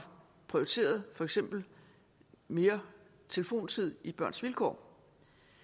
prioriteret for eksempel mere telefontid i børns vilkår når